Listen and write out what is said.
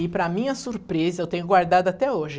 E, para minha surpresa, eu tenho guardado até hoje.